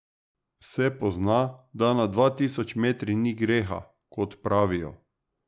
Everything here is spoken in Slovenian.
Se pozna, da nad dva tisoč metri ni greha, kot pravijo?